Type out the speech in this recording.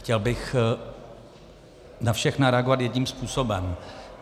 Chtěl bych na všechna reagovat jedním způsobem.